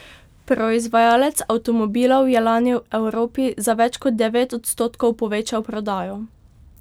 Proizvajalec avtomobilov je lani v Evropi za več kot devet odstotkov povečal prodajo.